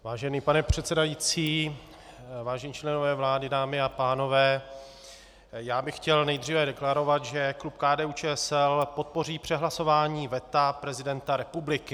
Vážený pane předsedající, vážení členové vlády, dámy a pánové, já bych chtěl nejdříve deklarovat, že klub KDU-ČSL podpoří přehlasování veta prezidenta republiky.